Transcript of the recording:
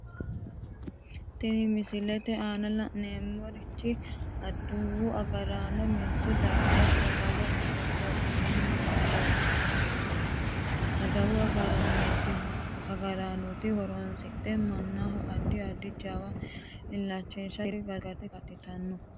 Tinne misilete aanna la'neemohu adawu agaraano mito darga songite hasaabanni noota leelishano misileeti. Adawu agaranoti horose manaho addi addi gawajo iilitanoki gede gargarate kaa'litano.